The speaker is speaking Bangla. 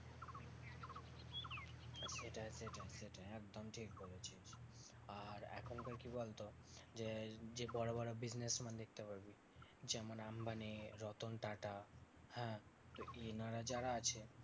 সেটাই সেটাই সেটাই একদম ঠিক বলেছিস। আর এখনকার কি বলতো? যে যে বড় বড় businessman দেখতে পাবি যেমন আম্বানি, রতন টাটা হ্যাঁ? এনারা যারা আছে